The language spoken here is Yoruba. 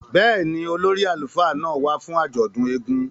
Bẹ́ẹ̀ni, ólori àlufa náa wa fun àjọdun èègún